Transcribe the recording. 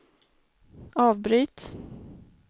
avbryt